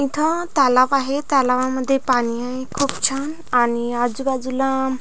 इथ तलाव आहे तलावामध्ये पाणी आहे खूप छान आणि आजूबाजूला--